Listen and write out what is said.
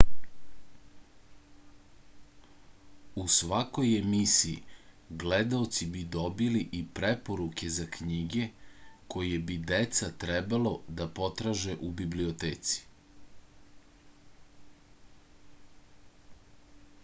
u svakoj emisiji gledaoci bi dobili i preporuke za knjige koje bi deca trebalo da potraže u biblioteci